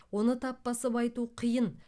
оны тап басып айту қиын